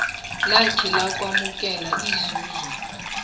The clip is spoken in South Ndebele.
lakhe lokwamukela inzuzo